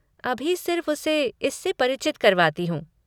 अभी सिर्फ़ उसे इससे परिचित करवाती हूँ।